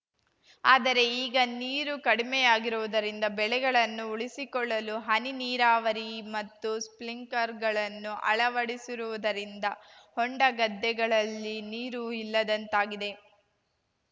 ಆದರೆ ಈಗ ನೀರು ಕಡಿಮೆಯಾಗಿರುವುದರಿಂದ ಬೆಳೆಗಳನ್ನು ಉಳಿಸಿಕೊಳ್ಳಲು ಹನಿ ನೀರಾವರಿ ಮತ್ತು ಸ್ಟ್ರಿಂಕ್ಲರ್‌ಗಳನ್ನು ಅಳವಡಿಸಿರುವುದರಿಂದ ಹೊಂಡ ಗದ್ದೆಗಳಲ್ಲಿ ನೀರು ಇಲ್ಲದಂತಾಗಿದೆ